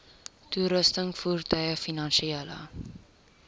toerusting voertuie finansiële